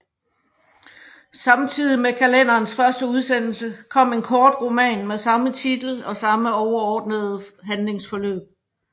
Samtidig med kalenderens første udsendelse kom en kortroman med samme titel og samme overordnede handlingsforløb